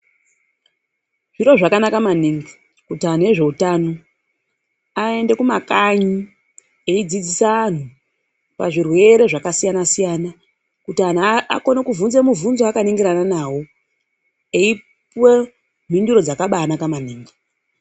Zviro zvakanaka maningi kuti anhu vezveutano aende kumakanyi eidzidzisa anhu pazvirwere zvakasiyana siyana kuti anhu akone kubvunze mibvunzo akaningirana nawo eipuwa mhinduro dzakabanaka maningi.